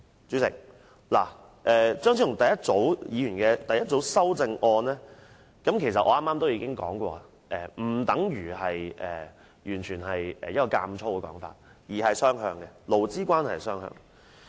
主席，張超雄議員第一組修正案我剛才已提過，當中建議並無強加於僱主的意圖，而是容許勞資關係雙向發展。